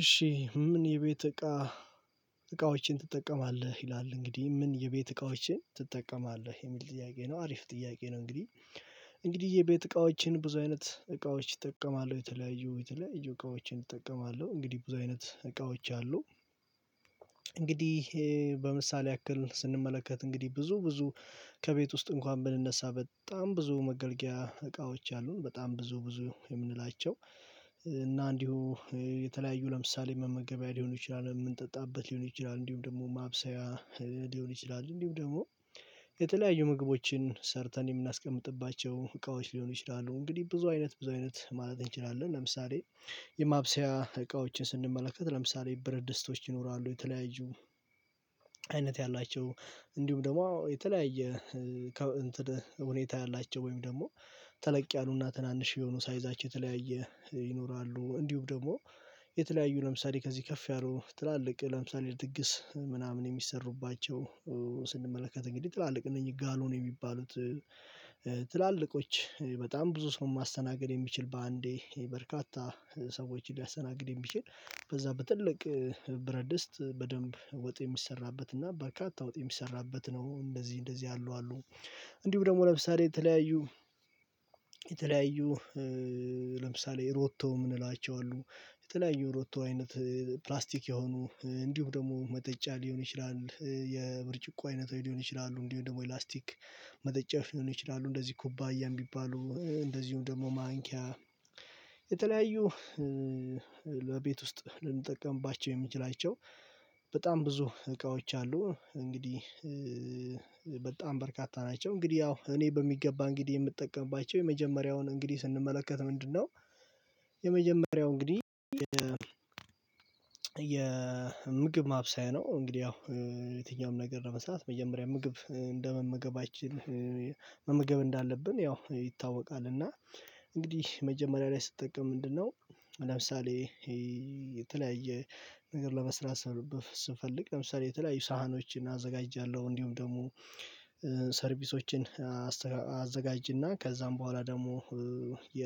እሺ ምን የቤት እቃ? እቃዎችን ትጠቀማለህ ይላል እንግዲህ ምን የቤት እቃዎችን ትጠቀማለህ የሚል ጥያቄ ነው አሪፍ ጥያቄ ነው። እንግዲህ እንግዲህ የቤት እቃዎችን ብዙ አይነት እቃዎች እጠቀማለሁ የተለያዩ የተለያዩ እቃዎችን እጠቀማለሁ እንግዲህ ብዙ አይነት እቃዎች አሉ። እንግዲህ በምሳሌ ያክል ስንመለከት እንግዲህ ብዙ ብዙ ከቤት ውስጥ እንኳን ብንነሳ በጣም ብዙ መገልገያ እቃዎች አሉ በጣም ብዙ ብዙ የምንላቸው እና እንዲሁ የተለያዩ ለምሳሌ መመገቢያ ሊሆን ይችላል የምንጠጣበት ሊሆን ይችላል እንዲሁም ደግሞ ማብሰያ ሊሆን ይችላል እንዲሁ ደግሞ የተለያዩ ምግቦችን ሰርተን የምናስቀምጥባቸው እቃዎች ሊሆኑ ይችላሉ። እንግዲህ ብዙ አይነት ብዙ አይነት ማለት እንችላለን። ለምሳሌ የማብሰያ እቃዎችን ስንመለከት ለምሳሌ ብረትድስቶች ይኖራሉ የተለያዩ አይነት ያላቸው እንዲሁም ደግሞ የተለያየ ሁኔታ ያላቸው ወይም ደግሞ ተለቅ ያሉና ትናንሽ የሆኑ ሳይዛቸው የተለያየ ይኖራሉ። እንዲሁም ደግሞ የተለያዩ ለምሳሌ ከዚህ ከፍ ያሉ ትላልቅ ለምሳሌ ድግስ ምናምን የሚሰሩባቸው ስንመለከት እንግዲህ ትላልቅ እነኚህ ጋሎን የሚባሉት ትላልቆች በጣም ብዙ ሰው ማስተናገድ የሚችል በአንዴ በርካታ ሰዎችን ሊያስተናግድ የሚችል በዛ በትልቅ ብረትድስት በደንብ ወጥ የሚሰራበትና በርካታ ወጥ የሚሰራበት ነው። እንደዚህ እንደዚህ ያሉ አሉ። እንዲሁም ደግሞ ለምሳሌ የተለያዩ የተለያዩ ለምሳሌ ሮቶ የምንላቸው አሉ የተለያዩ ሮቶ አይነት ፕላስቲክ የሆኑ እንዲሁም ደግሞ መጠጫ ሊሆን ይችላል የብርጭቆ አይነት ሊሆን ይችላሉ። እንዲሁ ደግሞ የላስቲክ መጠጫ ሊሆን ይችላሉ እንደዚህ ኩባያም የሚባሉ እንደዚሁም ደግሞ ማንኪያ የተለያዩ ለቤት ውስጥ ልንጠቀምባቸው የምንችላቸው በጣም ብዙ እቃዎች አሉ። እንግዲህ በጣም በርካታ ናቸው። እንግዲህ ያው እኔ በሚገባ እንግዲህ የምጠቀምባቸው የመጀመሪያውን እንግዲህ ስንመለከት ምንድነው የመጀመሪያው እንግዲህ የ የምግብ ማብሰያ ነው። እንግዲህ ያው የትኛውም ነገር ነው መስራት መጀመሪያ ምግብ እንደመመገባችን መመገብ እንዳለብን ያው ይታወቃል። እና እንግዲህ መጀመሪያ ላይ ስጠቀም ምንድነው ለምሳሌ የተለያየ ነገር ለመስራት ስፈልግ ለምሳሌ የተለያዩ ሳህኖችን አዘጋጃለሁ። እንዲሁም ደግሞ ሰርቪሶችን አዘጋጅና ከዛም በኋላ ደግሞ የ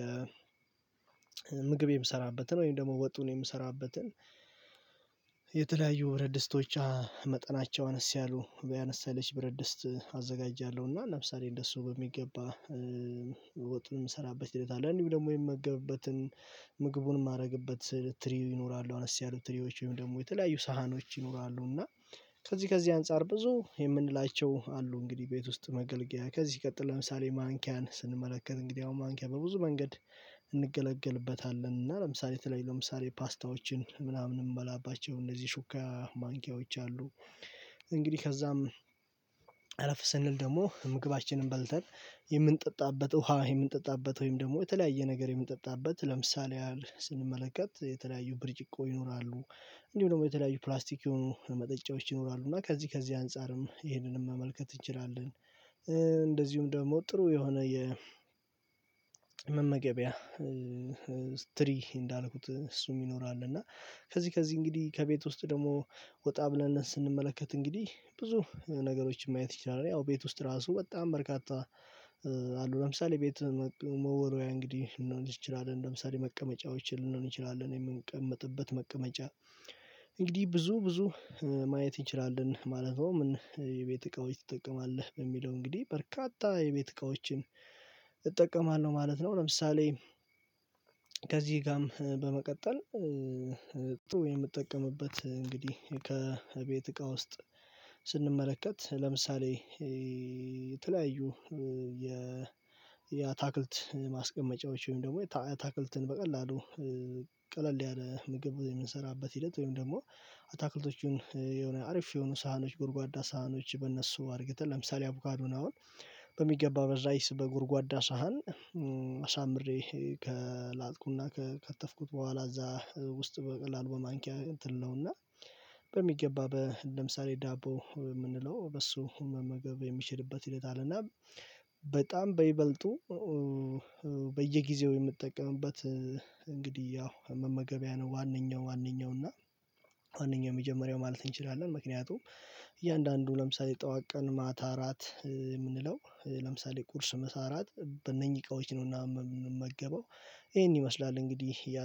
ምግብ የምሰራበትን ወይም ደግሞ ወጡን የምሰራበትን የተለያዩ ብረድስቶች መጠናቸው አነስ ያሉ አነስ ያለች ብረድስት አዘጋጃለሁና ለምሳሌ እንደሱ በሚገባ ወጥን እንሰራበት ይላል እንዲሁ ደግሞ የምመገብበትን ምግቡን የማደርግበት ትሪ ይኖራሉ አነስ ያሉ ትሪዎች ወይም ደግሞ የተለያዩ ሳህኖች ይኖራሉ። እና ከዚህ ከዚህ አንፃር ብዙ የምንላቸው አሉ እንግዲህ ቤት ውስጥ መገልገያ ከዚህ ቀጥል ለምሳሌ ማንኪያን ስንመለከት እንግዲህ አሁን ማንኪያ በብዙ መንገድ እንገለገልበታለን እና ለምሳሌ ተለይ ለምሳሌ ፓስታዎችን ምናምን የምንበላባቸው እነዚህ ሹካ ማንኪያዎች አሉ። እንግዲህ ከዛም አለፍ ስንል ደግሞ ምግባችንን በልተን የምንጠጣበት ውሃ የምንጠጣበት ወይም ደግሞ የተለያየ ነገር የምንጠጣበት ለምሳሌ ስንመለከት የተለያዩ ብርጭቆ ይኖራሉ እንዲሁ ደግሞ የተለያዩ ፕላስቲክ የሆኑ መጠጫዎች ይኖራሉ እና ከዚህ ከዚህ አንፃርም ይሄንን መመልከት እንችላለን። እንደዚሁም ደግሞ ጥሩ የሆነ የመመገቢያ ትሪ እንዳልኩት እሱ ይኖራል። እና ከዚህ ከዚህ እንግዲህ ከቤት ውስጥ ደግሞ ወጣ ብለን ስንመለከት እንግዲህ ብዙ ነገሮችን ማየት ይችላል ያው ቤት ውስጥ ራሱ በጣም በርካታ አሉ። ለምሳሌ ቤት መወሪያ እንግዲህ ልንሆን ልችላለህ ለምሳሌ መቀመጫዎችን ልንሆን ይችላል እኔ የምንቀመጥበት መቀመጫ እንግዲህ ብዙ ብዙ ማየት እንችላለን ማለት ነው። የቤት እቃዎች ትጠቀማለህ በሚለው እንግዲህ በርካታ የቤት እቃዎችን እጠቀማለሁ ማለት ነው። ለምሳሌ ከዚህ ጋርም በመቀጠል ጥሩ የምጠቀምበት እንግዲህ ከቤት እቃ ውስጥ ስንመለከት ለምሳሌ የተለያዩ የ የአታክልት ማስቀመጫዎች ወይም ደግሞ አታክልትን በቀላሉ ቀለል ያለ ምግብ የምንሰራበት ሂደት ወይም ደግሞ አታክልቶቹን የሆነ አርፍ የሆኑ ሳህኖች ጉድጓዳ ሳህኖች በእነሱ አድርገን ለምሳሌ አቮካዱን አውል በሚገባ በራይስ በጉድጓዳ ሳህን አሳምሬ ከላጥኩና ከከተፍኩት በኋላ እዛ ውስጥ በቀላሉ በማንኪያ እንትን ነው እና በሚገባ ለምሳሌ ዳቦ የምንለው በሱ መመገብ የሚችልበት ይለናል። እና በጣም በይበልጡ በየጊዜው የምትጠቀምበት እንግዲህ ያው መመገቢያ ነው። ዋነኛው ዋነኛው እና ዋነኛው የመጀመሪያው ማለት እንችላለን ምክንያቱም እያንዳንዱ ለምሳሌ ጠዋቅ ቀን ማታ አራት የምንለው ለምሳሌ ቁርስ መሳራት በእነኚህ እቃዎች ነውና የምመገበው ይሄን ይመስላል እንግዲህ ያ